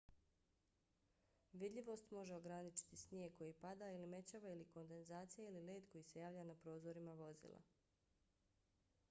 vidljivost može ograničiti snijeg koji pada ili mećava ili kondenzacija ili led koji se javlja na prozorima vozila